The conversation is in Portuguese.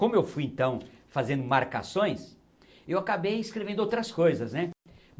Como eu fui, então, fazendo marcações, eu acabei escrevendo outras coisas, né?